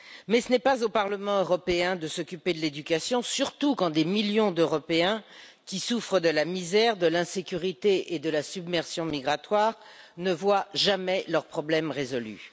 Mais ce n'est pas au Parlement européen de s'occuper de l'éducation, surtout quand des millions d'Européens, qui souffrent de la misère, de l'insécurité et de la submersion migratoire, ne voient jamais leurs problèmes résolus.